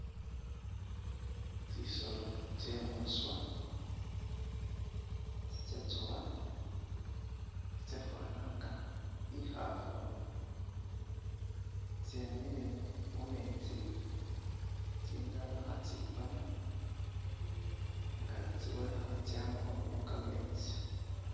Tsisoolo tsye mwiswa tsitsyatsoowa, tsitsefwaana nga ikhafu tsyemile mumeetsi tsindala khatsipaana nga tsibonekha tsyama khunywakho kameetsi